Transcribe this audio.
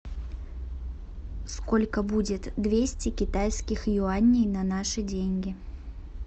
сколько будет двести китайских юаней на наши деньги